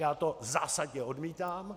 Já to zásadně odmítám.